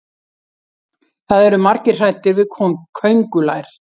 það eru margir hræddir við köngulær